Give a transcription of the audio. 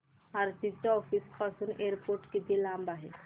आरती च्या ऑफिस पासून एअरपोर्ट किती लांब आहे